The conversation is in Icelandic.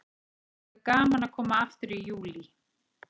Það verður gaman að koma aftur í Júlí.